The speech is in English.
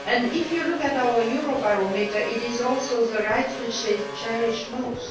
If you look at our Eurobarometer, it is also the right which they cherish most.